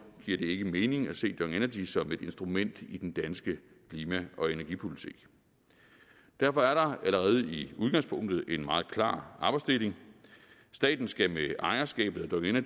giver det ikke mening at se dong energy som et instrument i den danske klima og energipolitik derfor er der allerede i udgangspunktet en meget klar arbejdsdeling staten skal med ejerskabet af